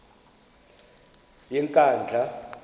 yenkandla